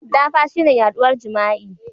Dafa shine yaduwar jima'i.